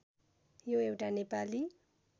यो एउटा नेपाली